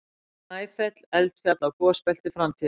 Snæfell- Eldfjall á gosbelti framtíðarinnar.